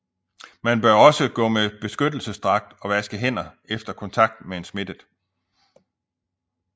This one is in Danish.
Man bør også gå med beskyttelsesdragt og vaske hænder efter kontakt med en smittet